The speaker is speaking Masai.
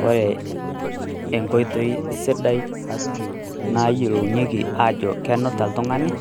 Koree enkoitoi sidai nayiolounyeki ajo kenuta oltung'ani